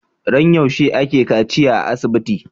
Ran yaushe ake kaciya a asibiti